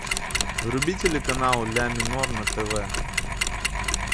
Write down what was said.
вруби телеканал ля минор на тв